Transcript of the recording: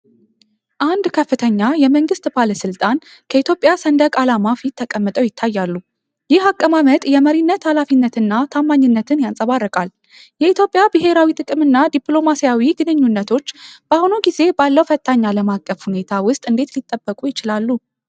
አንድ ከፍተኛ የመንግሥት ባለሥልጣን ከኢትዮጵያ ሰንደቅ ዓላማ ፊት ተቀምጠው ይታያሉ። ይህ አቀማመጥ የመሪነት ኃላፊነትንና ታማኝነትን ያንጸባርቃል። የኢትዮጵያ ብሔራዊ ጥቅም እና ዲፕሎማሲያዊ ግንኙነቶች በአሁኑ ጊዜ ባለው ፈታኝ ዓለም አቀፍ ሁኔታ ውስጥ እንዴት ሊጠበቁ ይችላሉ?